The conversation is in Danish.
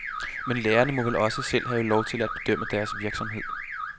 Men lærerne må vel også selv hav lov til at bedømme deres virksomhed.